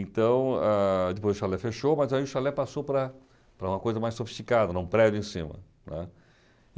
Então, ah depois o chalé fechou, mas aí o chalé passou para para uma coisa mais sofisticada, em um prédio em cima, né.